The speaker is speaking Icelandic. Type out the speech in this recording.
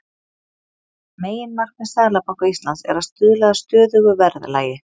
Meginmarkmið Seðlabanka Íslands er að stuðla að stöðugu verðlagi.